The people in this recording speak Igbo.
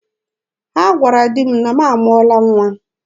Ha gwara di m na m amụọla nwa.